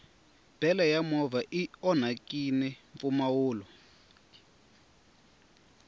bele ya movha i onhakini mpfumawulo